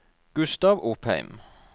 Gustav Opheim